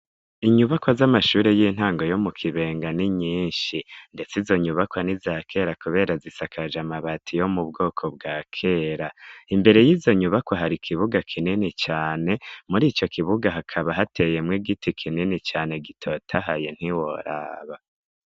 Inyubakwa z'amashure y'intango yo mu Kibenga ni nyinshi ndetse izo nyubakwa n'izakera kubera zisakaje amabati yo mu bwoko bwa kera, imbere y'izo nyubakwa hari ikibuga kinini cane, muri ico kibuga hakaba hateyemwo igiti kinini cane gitotahaye ntiworaba.